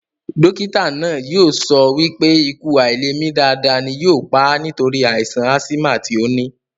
Dókítà náà yóò sọ wípé ikú àilèmi dáadáa ni yóò pà á nítorí àìsàn ásímà tí ó ní